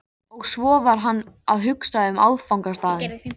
Og svo var hann að hugsa um áfangastaðinn.